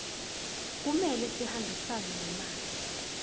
kumele sihambisane nemali